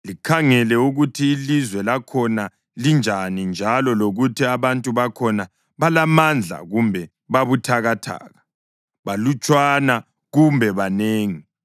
Likhangele ukuthi ilizwe lakhona linjani njalo lokuthi abantu bakhona balamandla kumbe babuthakathaka, balutshwana kumbe banengi.